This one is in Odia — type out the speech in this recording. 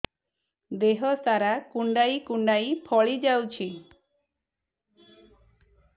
ଦେହ ସାରା କୁଣ୍ଡାଇ କୁଣ୍ଡାଇ ଫଳି ଯାଉଛି